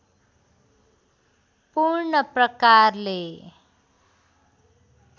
पूर्ण प्रकारले